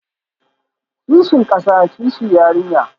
Kishin kasa, kishi yarinya